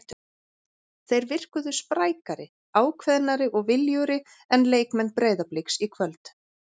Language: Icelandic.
Þeir virkuðu sprækari, ákveðnari og viljugri en leikmenn Breiðabliks í kvöld.